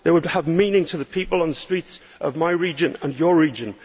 They would have meaning for the people on the streets of my region and your region.